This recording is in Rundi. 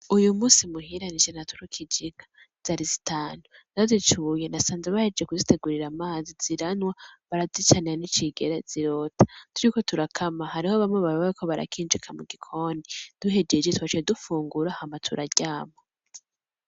Uyu munsi muhira nije naturukije inka zari zitanu ndazicuye nasanze bahejeje kuzitegurira amazi ziranwa barazicanira n' icegere zirota, turiko turakama hariho bamwe bariko barakinjika mu gikoni duhejeje twaciye dufungura hama turaryama.